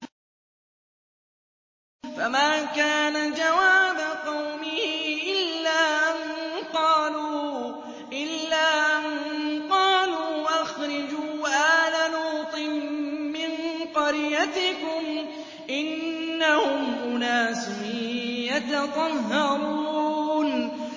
۞ فَمَا كَانَ جَوَابَ قَوْمِهِ إِلَّا أَن قَالُوا أَخْرِجُوا آلَ لُوطٍ مِّن قَرْيَتِكُمْ ۖ إِنَّهُمْ أُنَاسٌ يَتَطَهَّرُونَ